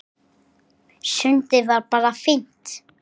Sundið var bara fínt.